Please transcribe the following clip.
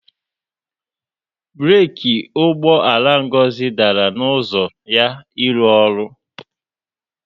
Breeki ụgbọala Ngozi dara n'ụzọ ya ịrụ ọrụ